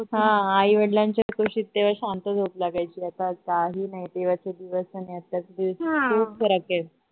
ह आई वडलांच्या कुशीत तेव्हा शांत झोप लागायची आता काही नाही तेव्हाचे दिवस आणि आत्ताचे दिवस खूप फरक आहे